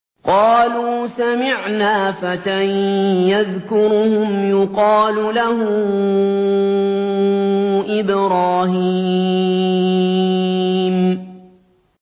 قَالُوا سَمِعْنَا فَتًى يَذْكُرُهُمْ يُقَالُ لَهُ إِبْرَاهِيمُ